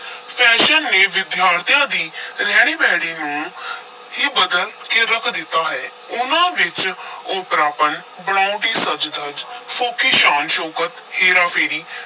Fashion ਨੇ ਵਿਦਿਆਰਥੀਆਂ ਦੀ ਰਹਿਣੀ-ਬਹਿਣੀ ਨੂੰ ਹੀ ਬਦਲ ਕੇ ਰੱਖ ਦਿੱਤਾ ਹੈ, ਉਨ੍ਹਾਂ ਵਿਚ ਓਪਰਾਪਨ, ਬਣਾਉਟੀ ਸੱਜ-ਧਜ, ਫੋਕੀ ਸ਼ਾਨ-ਸ਼ੌਕਤ, ਹੇਰਾ-ਫੇਰੀ,